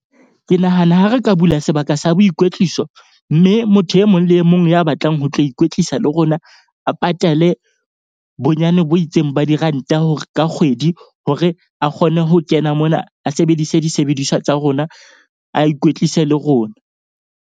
Ke nahana ha re ka bula sebaka sa boikwetliso. Mme motho e mong le e mong ya batlang ho tlo ikwetlisa le rona, a patale bonyane bo itseng ba diranta hore ka kgwedi hore a kgone ho kena mona, a sebedise disebediswa tsa rona, a ikwetlise le rona.